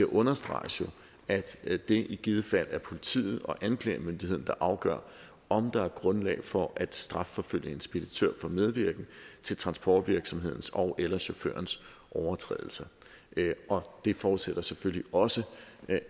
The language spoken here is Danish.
understreges at det i givet fald er politiet og anklagemyndigheden der afgør om der er grundlag for at strafforfølge en speditør for medvirken til transportvirksomhedens ogeller chaufførens overtrædelse og det forudsætter selvfølgelig også